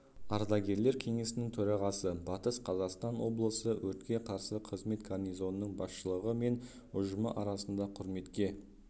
ардагерлер кеңесінің төрағасы батыс қазақстан облысы өртке қарсы қызмет гарнизонының басшылығы мен ұжымы арасында құрметке